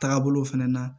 Taagabolo fɛnɛ na